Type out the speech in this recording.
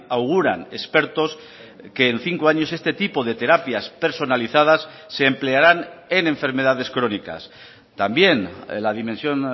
auguran expertos que en cinco años este tipo de terapias personalizadas se emplearán en enfermedades crónicas también la dimensión